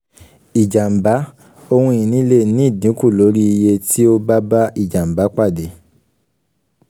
ìjàmbá: ohun ìní lè ní ìdínkù lórí iye tí ó bá bá ìjàmbá pàdé.